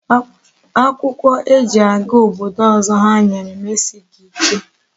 Akwukwo e ji aga obodo ozo ha nwere m esighi ike